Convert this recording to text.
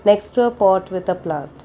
next row pot with the plant.